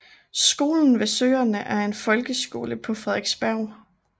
Skolen ved søerne er en folkeskole på Frederiksberg